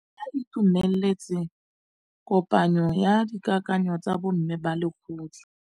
Ba itumeletse kôpanyo ya dikakanyô tsa bo mme ba lekgotla.